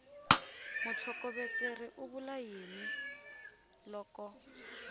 mutlhokovetseri u vula yini loko